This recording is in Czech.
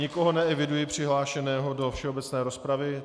Nikoho neeviduji přihlášeného do všeobecné rozpravy.